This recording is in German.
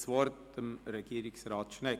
Das Wort hat Regierungsrat Schnegg.